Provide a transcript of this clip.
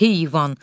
Heyvan!